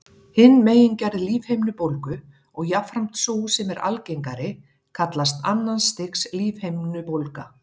Hin megingerð lífhimnubólgu, og jafnframt sú sem er algengari, kallast annars stigs lífhimnubólga.